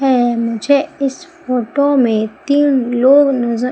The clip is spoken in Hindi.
हैं मुझे इस फोटो में तीन लोग नजर--